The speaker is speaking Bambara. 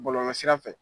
Bɔlɔlɔsira fɛ